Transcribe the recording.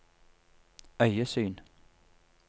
øyesyn